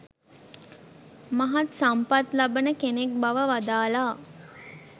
මහත් සම්පත් ලබන කෙනෙක් බව වදාළා.